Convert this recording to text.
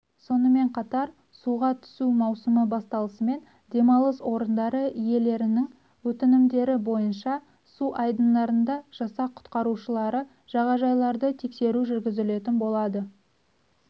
сонымен қатар суға түсу маусымы басталысымен демалыс орындары иелерінің өтінімдері бойынша су айдындарында жасақ құтқарушылары жағажайларды тексеру жүргізілетін болады